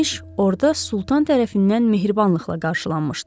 orada Sultan tərəfindən mehribanlıqla qarşılanmışdı.